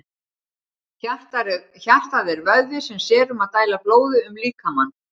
Hjartað er vöðvi sem sér um að dæla blóði um líkamann.